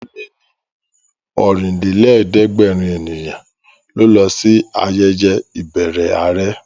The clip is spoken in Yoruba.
Ó lé ní Ọ̀rìnlélẹ̀ẹ́dẹ́gbèrin ènìyàn ló lọ sí ayẹyẹ ìbẹrẹ àrẹ